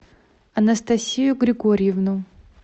анастасию григорьевну